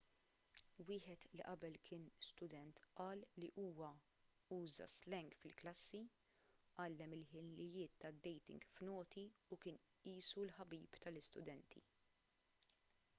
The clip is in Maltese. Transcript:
wieħed li qabel kien student qal li huwa uża s-slang fil-klassi għallem il-ħiliet tad-dating f'noti u kien qisu l-ħabib tal-istudenti'